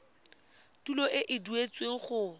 tuelo e e duetsweng go